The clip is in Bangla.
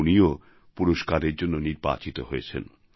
উনিও পুরস্কারের জন্য নির্বাচিত হয়েছেন